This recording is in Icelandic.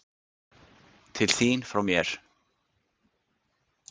Til þín frá mér.